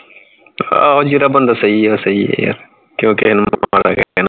ਹਾਂ ਜੇੜਾ ਬੰਦਾ ਸਹੀ ਹੈ ਉਹ ਸਹੀ ਹੈ ਯਾਰ ਕਿਊ ਆਪਾ ਕਿਸੇ ਨੂੰ ਮਾੜਾ ਕਹੀਏ